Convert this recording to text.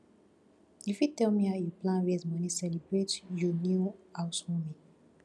you fit tell me how you plan raise money celebrate you new house warming